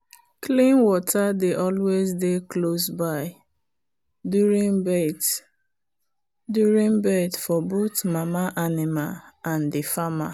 clean water dey always dey close by during birth during birth for both mama animal and the farmer.